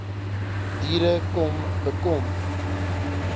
diere kom bekom